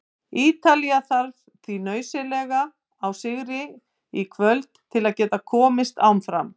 Ítalía þarf því nauðsynlega á sigri í kvöld til að geta komist áfram.